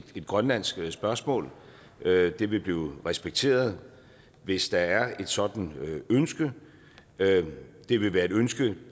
et grønlandsk spørgsmål det vil blive respekteret hvis der er et sådant ønske det vil være et ønske